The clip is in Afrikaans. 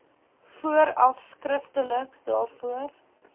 vooraf skriftelik daarvoor